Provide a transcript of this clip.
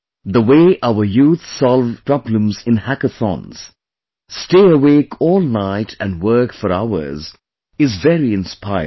The way our youth solve problems in hackathons, stay awake all night and work for hours, is very inspiring